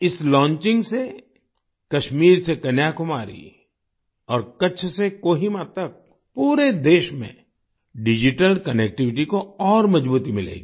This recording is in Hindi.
इस लॉन्चिंग से कश्मीर से कन्याकुमारी और कच्छ से कोहिमा तक पूरे देश में डिजिटल कनेक्टिविटी को और मजबूती मिलेगी